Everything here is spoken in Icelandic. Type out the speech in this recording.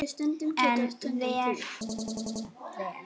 En vel á veg.